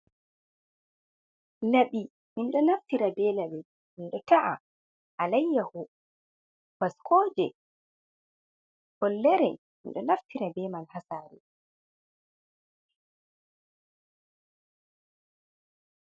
Labi minɗo naftira be laɓi minta'a alayya h, baskoje, follere, minɗo naftira beman ha sare.